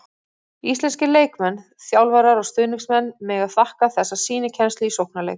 Íslenskir leikmenn, þjálfarar og stuðningsmenn mega þakka þessa sýnikennslu í sóknarleik.